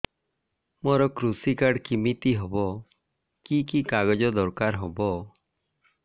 ମୋର କୃଷି କାର୍ଡ କିମିତି ହବ କି କି କାଗଜ ଦରକାର ହବ